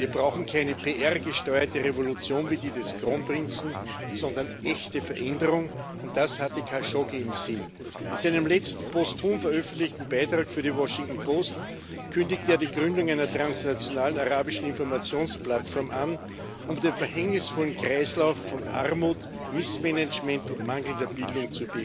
Wir brauchen keine PR gesteuerte Revolution wie die des Kronprinzen, sondern echte Veränderung, und das hatte Khashoggi im Sinn. In seinem letzten, posthum veröffentlichten Beitrag für die Washington Post kündigte er die Gründung einer transnationalen arabischen Informationsplattform an, um den verhängnisvollen Kreislauf von Armut, Missmanagement und mangelnder Bildung